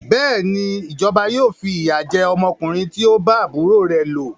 Bẹ́ẹ̀ni, ìjọba yóò fi ìyà jẹ ọmọkùnrin tí o bá àbúrò rẹ lò.